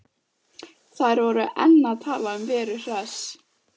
Þær voru enn að tala um Veru Hress.